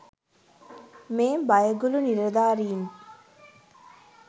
මේ බයගුළු නිලධාරීන්.